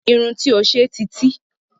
Irun tí ó ṣe ti tí